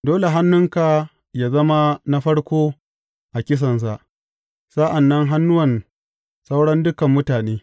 Dole hannunka yă zama na farko a kisansa, sa’an nan hannuwan sauran dukan mutane.